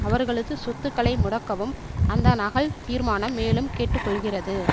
அவர்களது சொத்துக்களை முடக்கவும் அந்த நகல் தீர்மானம் மேலும் கேட்டு கொள்கிறது